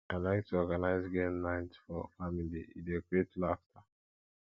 i like to organize game night for family e dey create laughter